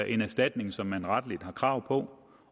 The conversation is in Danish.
en erstatning som man retligt har krav på